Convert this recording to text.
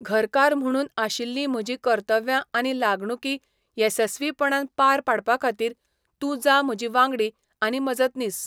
घरकार म्हुणून आशिल्लीं म्हजीं कर्तव्यां आनी लागणुकी येसस्वीपणान पार पाडपाखातीर तूं जा म्हजी वांगडी आनी मजतनीस.